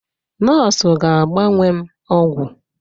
Nọọsụ ga-agba m ọgwụ